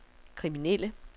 kriminelle